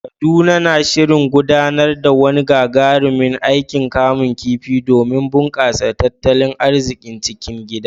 Kaduna na shirin gudanar da wani gagarumin aikin kamun kifi domin bunƙasa tattalin arzikin cikin gida.